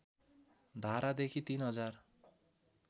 धारादेखि तीन हजार